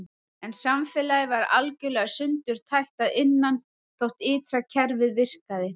En samfélagið var algjörlega sundurtætt að innan þótt ytra kerfið virkaði.